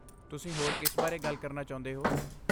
ਤੁਸੀਂ ਹੋਰ ਕਿਸ ਬਾਰੇ ਗੱਲ ਕਰਨਾ ਚਾਹੁੰਦੇ ਹੋ?